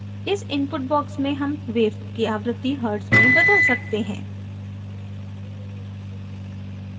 इस input box में हम wave की आवृत्ति hertz में बदल सकते हैं